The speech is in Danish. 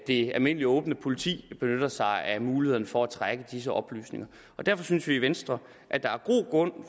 det almindelige åbne politi benytter sig af mulighederne for at trække disse oplysninger derfor synes vi i venstre at der er god grund